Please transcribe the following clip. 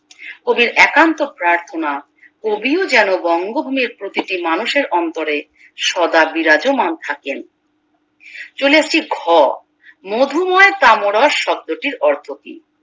কবির একান্ত প্রার্থনা কবিও যেন বঙ্গভূমির প্রতিটি মানুষের অন্তরে সদা বিরাজমান থাকেন চলে আসছি ঘ মধুময় কামরস শব্দটির অর্থকি